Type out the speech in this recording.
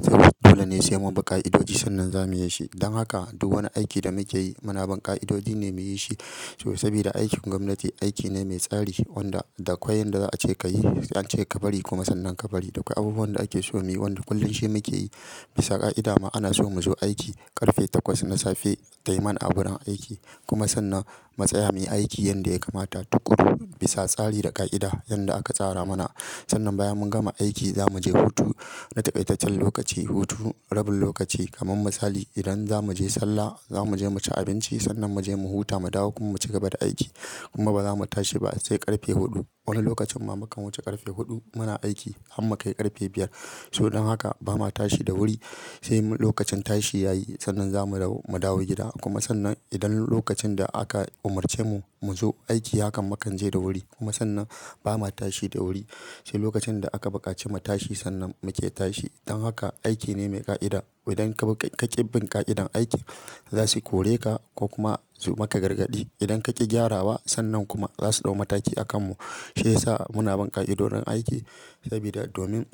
Saboda dole ne sai mun bi ƙa'idoji sannan zamuyi shi. Don haka duk wani aiki da muke yi muna bin ƙa'idodi ne muyi shi. So sabida aikin gwamnati aiki ne mai tsari wanda da akwai yanda za a ce ka yi, an ce ka bari kuma sannan ka bari. Da akwai abubuwan da ake so muyi wanda kullum shi muke yi. Bisa ƙa'ida ma ana so mu zo aiki ƙarfe takwas na safe, tayi man agurun aiki kuma sannan mutsaya muyi aiki yanda ya kamata tukuru bisa tsari da ƙa'ida yanda aka tsara mana. Sannan bayan mun gama aiki za mu je hutu. Na taƙaitaccen lokaci hutu, rabin lokaci kamar misali idan za mu je sallah, za mu je mu ci abinci sannan mu je mu huta mu dawo kuma mu cigaba da aiki. Kuma ba za mu tashi ba sai ƙarfe huɗu. Wani lokacin ma mukan wuce ƙarfe huɗu muna aiki har mukai ƙarfe biyar. So don haka ba ma tashi da wuri sai lokacin tashi yayi sannan za mu dawo, mu dawo gida kuma sannan idan lokacin da aka umarce mu mu zo aiki hakan mukan je da wuri kuma sannan ba ma tashi da wuri sai lokacin da aka bukaci mu tashi sannan muke tashi. Don haka aiki ne mai ƙa'ida. Idan ka ƙi bin ƙa'idan aiki za su kore ka ko kuma su maka gargaɗi. Idan ka ƙi gyarawa sannan kuma za su ɗau mataki a kan mu. Shi yasa muna bin ƙa'idodin aiki sabida domin